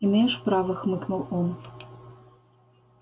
имеешь право хмыкнул он